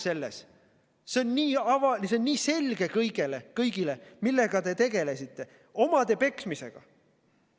See on kõigile nii selge, millega te tegelesite: omade peksmisega.